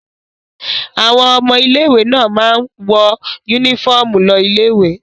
Àwọn ọmọ ilé-ìwé náà máa ń wọ únífọ́ọ́mù lọ ilé-ìwé.